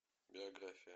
биография